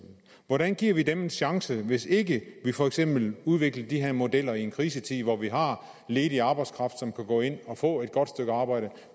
su hvordan giver vi dem en chance hvis ikke vi for eksempel udvikler de her modeller i en krisetid hvor vi har ledig arbejdskraft som kan gå ind og få et godt stykke arbejde